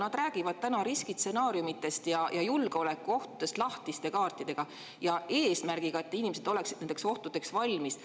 Nad räägivad riskistsenaariumidest ja julgeolekuohtudest lahtiste kaartidega, seda eesmärgiga, et inimesed oleksid nendeks ohtudeks valmis.